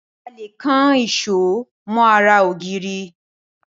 A lè kan èṣó mọ́ ara ògiri.